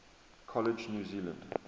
college new zealand